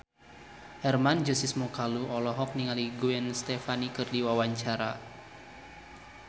Hermann Josis Mokalu olohok ningali Gwen Stefani keur diwawancara